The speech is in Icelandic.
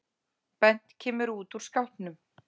Bent kemur út úr skápnum